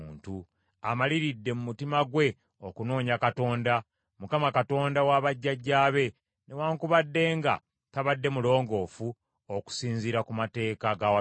amaliridde mu mutima gwe okunoonya Katonda, Mukama Katonda wa bajjajjaabe, newaakubadde nga tabadde mulongoofu okusinziira ku mateeka g’awatukuvu.”